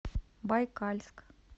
байкальск